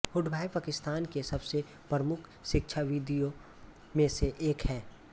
हुडभॉय पाकिस्तान के सबसे प्रमुख शिक्षाविदों में से एक है